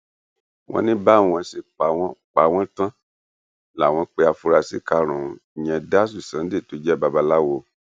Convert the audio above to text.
wọn ní báwọn ṣe pa wọn pa wọn tán láwọn pé àfúrásì karùnún ìyẹn dásù sunday tó jẹ babaláwo